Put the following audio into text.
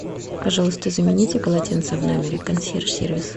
пожалуйста замените полотенца в номере консьерж сервис